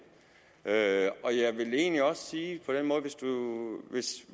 jeg vil egentlig også sige